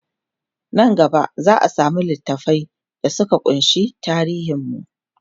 Nan gaba zaa samu littafai da Suka kunshi tarihin mu